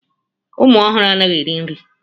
Ụmụ ọhụrụ anaghị eri nri.